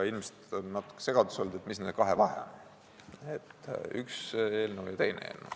Ilmselt on natuke segadust tekitanud, et mis on nende kahe eelnõu vahe.